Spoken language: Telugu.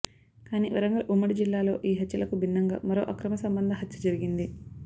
కానీ వరంగల్ ఉమ్మడి జిల్లాలో ఈ హత్యలకు బిన్నంగా మరో అక్రమ సంబంద హత్య జరిగింది